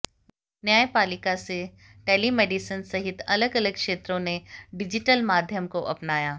न्यायपालिका से टेलीमेडिसिन सहित अलग अलग क्षेत्रों ने डिजिटल माध्यम को अपनाया